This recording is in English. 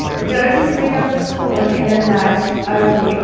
the georges made up of stone in a large are grey.